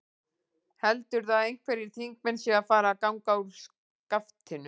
Heldurðu að einhverjir þingmenn séu að fara að ganga úr skaftinu?